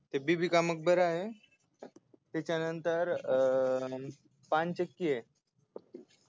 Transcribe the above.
ते बीबी का मकबरा है त्याच्यानंतर अं पानचक्कीय है